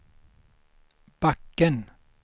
backen